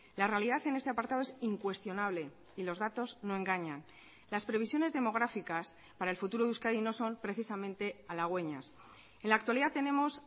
la realidad en este apartado es incuestionable y los datos no engañan las previsiones demográficas para el futuro de euskadi no son precisamente halagüeñas en la actualidad tenemos